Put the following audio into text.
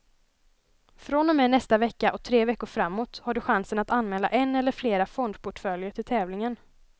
Från och med nästa vecka och tre veckor framåt har du chansen att anmäla en eller flera fondportföljer till tävlingen.